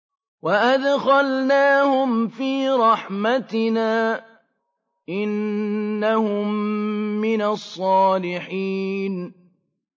وَأَدْخَلْنَاهُمْ فِي رَحْمَتِنَا ۖ إِنَّهُم مِّنَ الصَّالِحِينَ